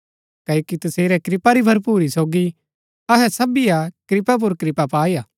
क्ओकि तसेरै कृपा री भरपुरी सोगी अहै सबीये कृपा पुर कृपा पाईआ